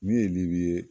Min ye libu ye